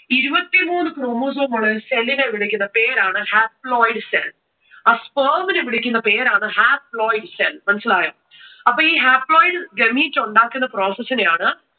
ഇരുപത്തി മൂന്ന് chromosome ഉള്ള ഒരു cell നെ വിളിക്കുന്ന പേര് ആണ് haploid cell. ആ sperm നെ വിളിക്കുന്ന പേരാണ് haploid cell. മനസ്സിലായോ? അപ്പോ ഈ haploid gamete ഉണ്ടാക്കുന്ന process നെ ആണ്